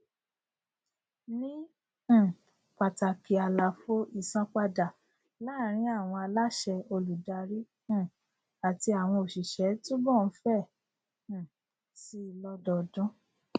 ni um pàtàkì àlàfo ìsanpadà láàrín àwọn aláṣẹ olùdarí um àti àwọn òṣìṣẹ túbọ ń fẹ um síi lódọọdún